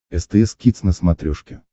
стс кидс на смотрешке